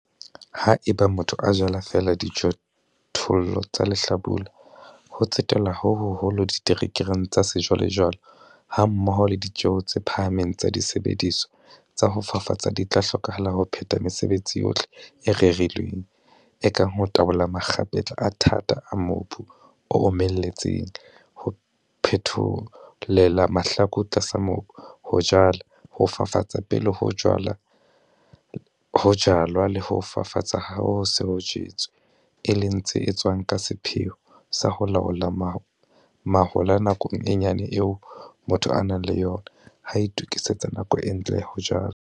Haeba motho a jala feela dijothollo tsa lehlabula, ho tsetelwa ho hoholo diterekereng tsa sejwalejwale hammoho le ditjeo tse phahameng tsa disebediswa tsa ho fafatsa di tla hlokahala ho phetha mesebetsi yohle e rerilweng, e kang ho tabola makgapetla a thata a mobu o omelletseng, ho phetholella mahlaku tlasa mobu, ho jala, ho fafatsa pele ho jalwa le ho fafatsa ha ho se ho jetswe, e leng tse etswang ka sepheo sa ho laola mahola nakong e nyane eo motho a nang le yona ha a itokisetsa nako e ntle ya ho jala.